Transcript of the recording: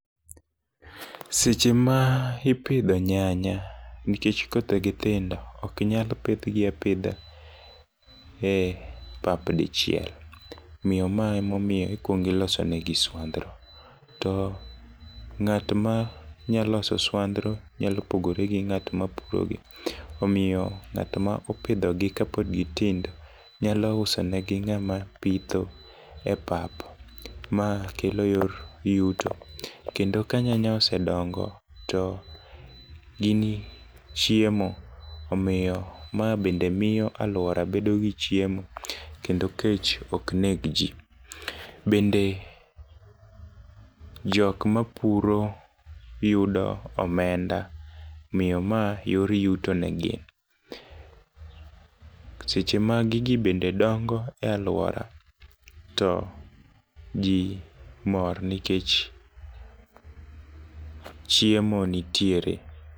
Seche ma ipidho nyanya, nikech kothegi tindo, ok nyal pidhgi apidha e pap dichiel, omiyo ma emomiyo ikwongo iloso negi swandhro, ng'at ma nya loso swandhro, nya pogore gi ng'at ma puro gi. Omiyo ng'at ma opidhogi ka pod gitindo, nyalo uso negi ng'ama pitho e pap. Ma kelo yor yuto. kendo ka nyanya osedongo, to gin chiemo, omiyo ma bende miyo alwora bedo gi chiemo, kendo kech ok neg ji. Bende jok mapuro yudo omenda . Omiyo ma yor yuto ne gin. Seche ma gigi bende dongo e alwora ,to ji mor nikech chiemo nitiere.